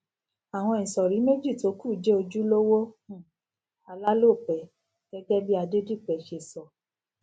àwọn ìsòrí méjì tó kù jé ojúlówó um alálòpé gégé bí adedipe ṣe sọ